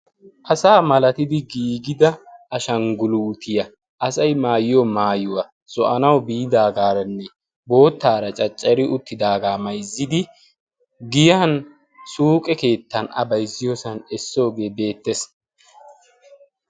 Asa malatidi giigida ashangguluutiyaa asay maayiyo maayuwaa zo'anawu biidaagaaranne boottaara caccari uttidaagaa mayzzidi giyan suuqe keettan a bayzziyoosan essoogee beettes.